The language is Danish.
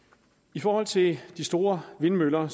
i forhold til de store vindmøller